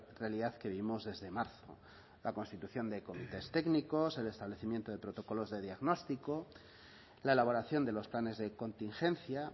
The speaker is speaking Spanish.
realidad que vivimos desde marzo la constitución de comités técnicos el establecimiento de protocolos de diagnóstico la elaboración de los planes de contingencia